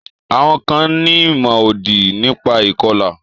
Àwọn kan ní ìmọ̀-òdì nípa ìkọlà.